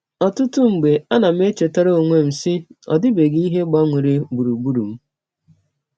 Ọtụtụ mgbe, anam echetara ọnwe m, sị, ‘ Ọ dịbeghị ihe gbanwere gbụrụgbụrụ m.